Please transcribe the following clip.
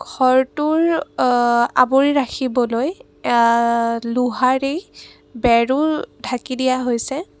ঘৰটোৰ অ আবৰি ৰাখিবলৈ আঁ লোহৰি বেৰো ঢাকি দিয়া হৈছে।